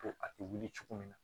Ko a tɛ wuli cogo min na